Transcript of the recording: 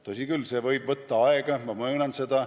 Tõsi küll, see võib võtta aega, ma möönan seda.